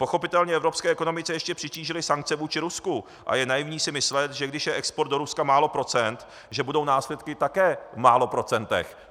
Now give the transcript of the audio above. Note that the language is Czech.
Pochopitelně evropské ekonomice ještě přitížily sankce vůči Rusku a je naivní si myslet, že když je export do Ruska málo procent, že budou následky také v málo procentech.